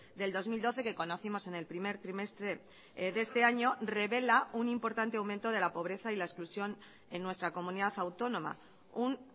del dos mil doce que conocimos en el primer trimestre de este año revela un importante aumento de la pobreza y la exclusión en nuestra comunidad autónoma un